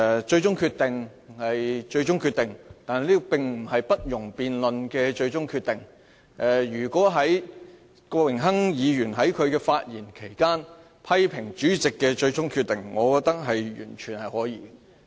最終決定是最終決定，但並不是不容辯論的最終決定，如果郭榮鏗議員在發言期間批評主席的最終決定，我認為完全可以。